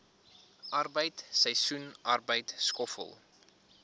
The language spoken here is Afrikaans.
arbeid seisoensarbeid skoffel